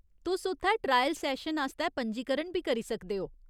तुस उत्थै trial session आस्तै पंजीकरण बी करी सकदे ओ।